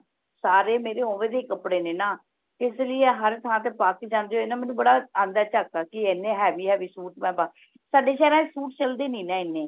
ਸਾਰੇ ਮੇਰੇ ਉਵੇਂ ਦੇ ਹੀ ਕਪੜੇ ਨੇ ਨਾ ਇਸ ਲਯੀ ਹਰ ਥਾਂ ਤੇ ਪਾ ਕ ਜਾਂਦੇ ਹੋਏ ਨਾ ਮੈਨੂੰ ਬੜਾ ਆਂਦਾ ਝਾਕਾ ਕਿ ਹਨ heavy heavy ਸੂਟ ਮੈਂ ਪਾ ਸਾਡੇ ਸ਼ਹਿਰਾਂ ਚ ਸੂਟ ਚਲਦੇ ਹਿਨੀ ਨਾ ਹਨ